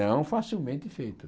Não facilmente feita.